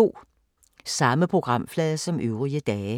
Samme programflade som øvrige dage